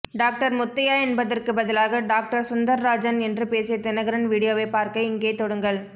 doctor Muthaiah என்பதற்க்கு பதிலாக doctor Sundararajan என்று பேசிய தினகரன் வீடியோவைப் பார்க்க இங்கே தொடுங்கள்